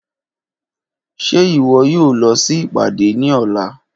Ṣe iwọ yoo lọ si ipade ni ọla?.